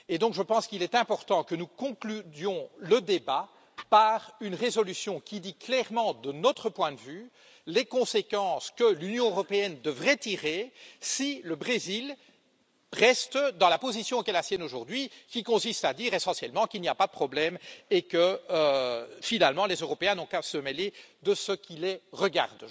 Je pense donc qu'il est important que nous concluions le débat par une résolution qui dit clairement, de notre point de vue, les conséquences que l'Union européenne devrait tirer si le Brésil reste dans la position qui est la sienne aujourd'hui, qui consiste à dire essentiellement qu'il n'y a pas de problème et que, finalement, les Européens n'ont qu'à se mêler de ce qui les regarde.